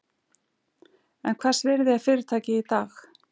En hvers virði er fyrirtækið í dag?